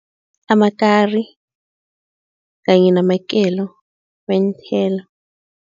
Amakari kanye namakelo weenthelo.